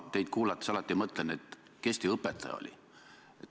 Ma teid kuulates alati mõtlen, kes teie õpetaja oli.